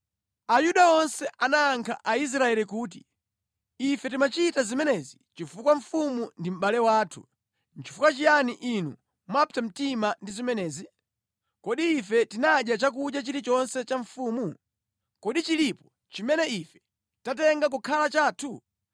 Ayuda onse anayankha Aisraeli kuti, “Ife timachita zimenezi chifukwa mfumu ndi mʼbale wathu. Nʼchifukwa chiyani inu mwapsa mtima ndi zimenezi? Kodi ife tinadya chakudya chilichonse cha mfumu? Kodi chilipo chimene ife tatenga kukhala chathu?”